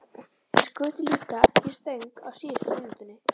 Þær skutu líka í stöng á síðustu mínútunni.